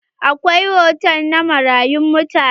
Akwai hotal na manyan mutane.